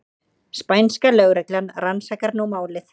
Spænska lögreglan rannsakar nú málið